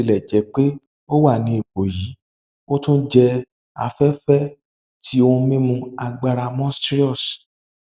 botilẹjẹpe o wa ni ipo yii o tun jẹ afẹfẹ ti ohun mimu agbara monstrous